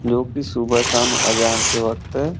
जोकि सुबह- शाम अज़ान के वक्त--